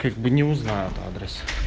как бы не узнает адрес